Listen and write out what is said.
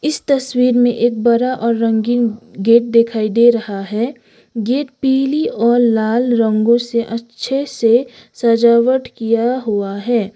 इस तस्वीर में एक बरा और रंगीन गेट दिखाई दे रहा है गेट पीली और लाल रंगों से अच्छे से सजावट किया हुआ है।